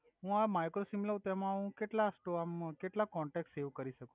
હુ હવે micro SIM લવ તો હુ એમ કેટ્લ સ્ત્રોમ કેટ્લા કોનટેક સેવ કરી સકુ